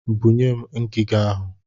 Bunye m ngiga ahụ!